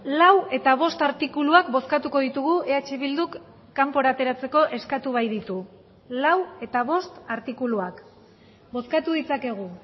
lau eta bost artikuluak bozkatuko ditugu eh bilduk kanpora ateratzeko eskatu baititu lau eta bost artikuluak bozkatu ditzakegu